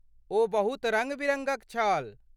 ओ बहुत रङ्ग बिरङ्गक छल।